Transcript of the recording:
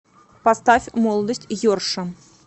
поставь молодость йорша